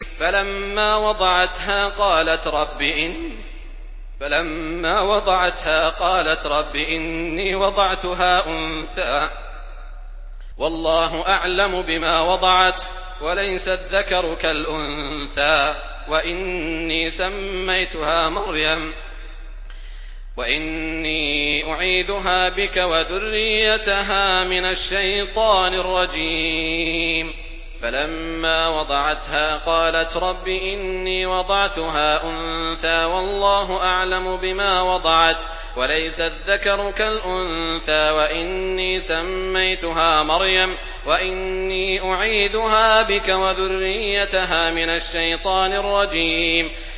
فَلَمَّا وَضَعَتْهَا قَالَتْ رَبِّ إِنِّي وَضَعْتُهَا أُنثَىٰ وَاللَّهُ أَعْلَمُ بِمَا وَضَعَتْ وَلَيْسَ الذَّكَرُ كَالْأُنثَىٰ ۖ وَإِنِّي سَمَّيْتُهَا مَرْيَمَ وَإِنِّي أُعِيذُهَا بِكَ وَذُرِّيَّتَهَا مِنَ الشَّيْطَانِ الرَّجِيمِ